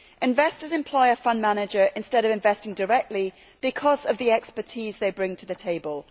Investors employ a fund manager instead of investing directly because of the expertise the latter brings to the table.